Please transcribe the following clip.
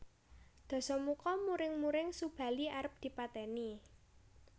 Dasamuka muring muring Subali arep dipateni